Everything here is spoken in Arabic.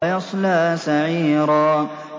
وَيَصْلَىٰ سَعِيرًا